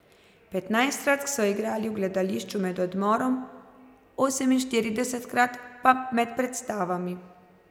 Petnajstkrat so igrali v gledališču med odmorom, oseminštiridesetkrat pa med predstavami.